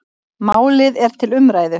Málið er til umræðu.